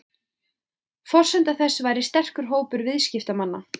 Forsenda þess væri sterkur hópur viðskiptamanna